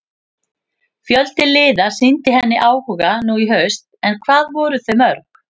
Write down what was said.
Fjöldi liða sýndi henni áhuga nú í haust en hvað voru þau mörg?